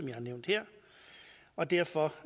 jeg har nævnt her og derfor